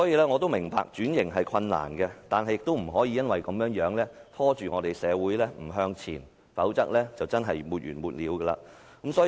我明白轉型是困難的，但亦不能因此而拖着社會不向前走，否則便會沒完沒了。